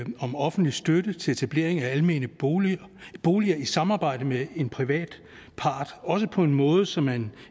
om offentlig støtte til etablering af almene boliger boliger i samarbejde med en privat part også på en måde så man